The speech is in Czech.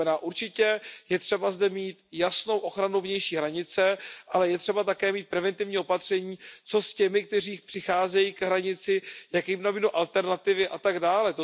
To znamená, určitě je třeba zde mít jasnou ochranu vnější hranice, ale je třeba také mít preventivní opatření pro ty, kteří přicházejí k hranici, jaké jim nabídnout alternativy a tak dále.